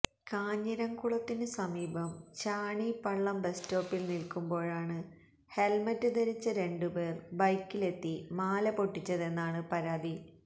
കാഞ്ഞിരംകുളത്തിനു സമീപം ചാണി പള്ളം ബസ് സ്റ്റോപ്പിൽ നിൽക്കുമ്പോഴാണ് ഹെൽമെറ്റ് ധരിച്ച രണ്ടുപേർ ബൈക്കിലെത്തി മാല പൊട്ടിച്ചെന്നാണ് പരാതി